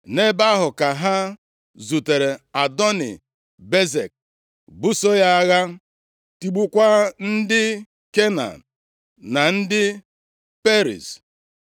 Nʼebe ahụ ka ha zutere Adoni-Bezek, buso ya agha, tigbukwaa ndị Kenan na ndị Periz.